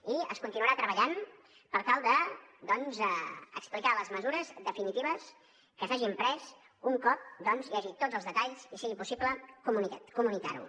i es continuarà treballant per tal de doncs explicar les mesures definitives que s’hagin pres un cop hi hagi tots els detalls i sigui possible comunicar ho